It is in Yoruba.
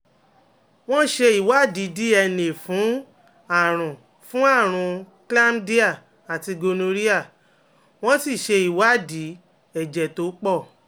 wọ́n ṣe ìwádìí DNA fún àrùn fún àrùn chlamydia àti gonorrhea wọ́n sì ṣe ìwádìí ẹ̀jẹ̀ tó pọ̀